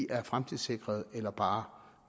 er fremtidssikrede eller bare